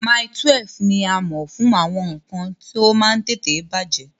Mile 12 ní a mọ̀ fún àwọn nǹkan tí ó máa ń tètè bàjẹ́